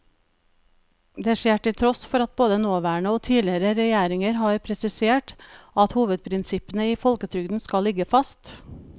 Det skjer til tross for at både nåværende og tidligere regjeringer har presisert at hovedprinsippene i folketrygden skal ligge fast.